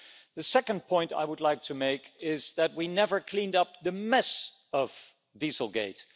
The second point I would like to make is that we never cleaned up the mess of Dieselgate.